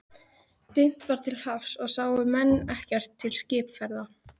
Dimmt var til hafs og sáu menn ekkert til skipaferða.